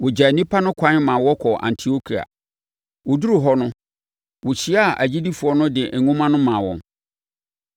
Wɔgyaa nnipa no kwan maa wɔkɔɔ Antiokia. Wɔduruu hɔ no, wɔhyiaa agyidifoɔ no de nwoma no maa wɔn.